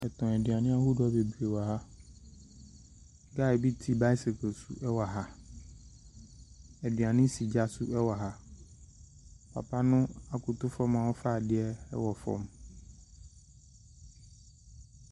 Aduane ahodoɔ bebree wɔ ha. Guy bi te bicycle so wɔ ha. Aduane si gya so wɔ ha. Papa no akoto fam a ɔrefa adeɛ wɔ fam.